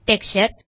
texture